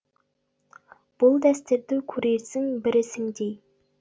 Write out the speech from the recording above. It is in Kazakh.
бұл дәстүрді көрерсің бір ісіңдей